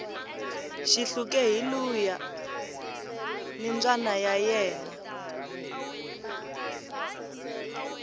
xihluke hi luuya ni mbayna ya ena